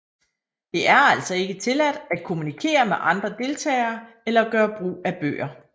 Det er altså ikke tilladt at kommunikere med andre deltagere eller gøre brug af bøger